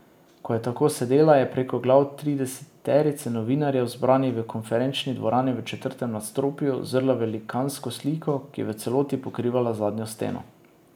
Ko je tako sedela, je preko glav trideseterice novinarjev, zbranih v konferenčni dvorani v četrtem nadstropju, zrla v velikansko sliko, ki je v celoti pokrivala zadnjo steno.